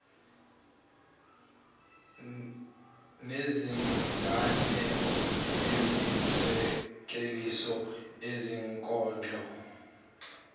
nezinganeko imizekeliso izinkondlo